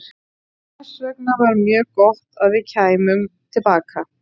Þess vegna var mjög gott að við kæmum til baka.